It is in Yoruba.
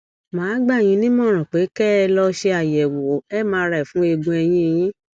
mà á gbà yín nímọràn pé kẹ ẹ lọ ṣe àyẹwò mri fún eegun ẹyìn yín